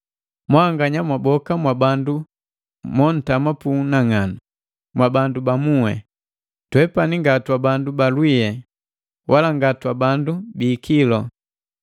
Mwanganya mwaboka mwabandu montama pu unang'anu, mwabandu ba muhi. Twepani nga twabandu ba lwiye, wala nga twabandu bi ikilu.